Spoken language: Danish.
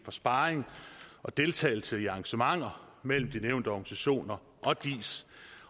sparring og deltagelse i arrangementer mellem de nævnte organisationer og diis